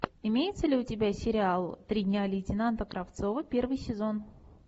имеется ли у тебя сериал три дня лейтенанта кравцова первый сезон